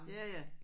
Ja ja